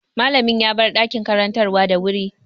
Mallamin ya bar ɗakin karantarwa da wuri.